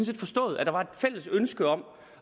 set forstået at der var et fælles ønske om